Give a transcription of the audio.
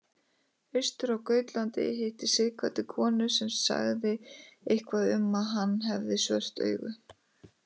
Austur á Gautlandi hitti Sighvatur konu sem sagði eitthvað um að hann hefði svört augu.